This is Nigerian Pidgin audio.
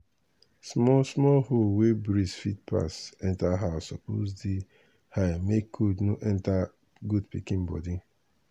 small small hole wey breeze fit pass enter house suppose dey high make cold no enter goat pikin body.